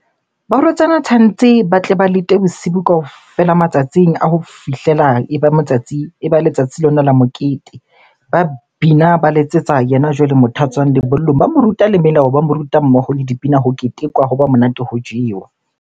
Barwetsana tshwantse ba tle ba lete bosibu kaofela matsatsing a ho fihlela e ba matsatsi, e ba letsatsi lona la mokete. Ba bina, ba letsetsa yena jwale motho a tswang lebollong. Ba mo ruta le melao, ba mo ruta mmoho le dipina. Ho ketekwa hoba monate, ho jewa.